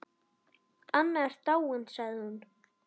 Anna er dáin sagði hún.